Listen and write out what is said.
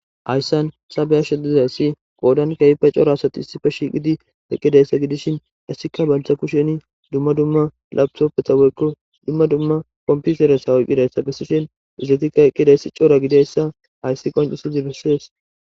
Hayisan sabeyash dizayssi qoodan kehipe cora asati issife shiiqidi eqqidayssa gidishin issika banctha kusheni dumma dumma labsoppeta weyiko dumma dumma kompiseresha wuyqqidayssa bessishen izatikka eqqidayssi coora gidayssa hayssi qoncusizi bessees